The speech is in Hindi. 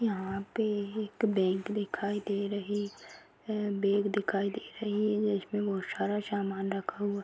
यहाँ पे एक बैंक दिखाई दे रही है बैग दिखाई दे रही है जिसमें बहुत सारा सामान रखा--